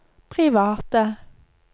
private